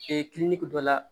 kiliniki dɔ la